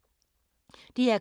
DR K